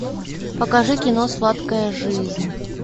покажи кино сладкая жизнь